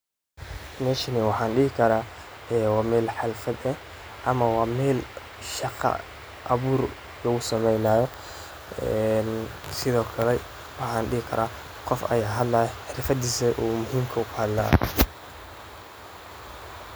Meshan mxaa dihii karaa wa meel xaflaat eeh ama wa meel shaqa abuur lagu samanayo sidhokale waxaa dihii karaa wa qoof hadlayo xirfadiisa oo muhimka ka hadlayo .